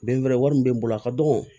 Bin wɛrɛ wari min bɛ n bolo a ka dɔgɔn